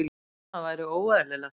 Annað væri óeðlilegt.